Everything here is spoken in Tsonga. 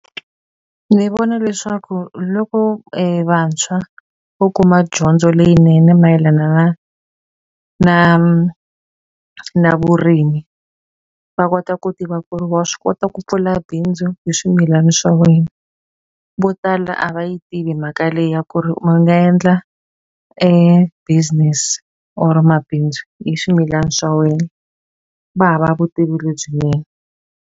Ndzi vona leswaku loko vantshwa vo kuma dyondzo leyinene mayelana na na na vurimi, va kota ku tiva ku ri wa swi kota ku pfula bindzu hi swimilana swa wena. Vo tala a va yi tivi mhaka leyi ya ku ri va nga endla business or mabindzu hi swimilana swa wena. Va hava vutivi lebyinene.